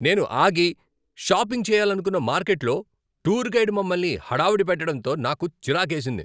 నేను ఆగి, షాపింగ్ చేయాలనుకున్న మార్కెట్లో టూర్ గైడ్ మమ్మల్ని హడావిడి పెట్టడంతో నాకు చిరాకేసింది.